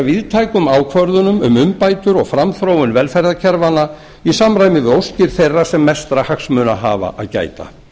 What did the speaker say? víðtækum ákvörðunum um umbætur og framþróun velferðarkerfanna í samræmi við óskir þeirra sem mestra hagsmuna hafa að gæta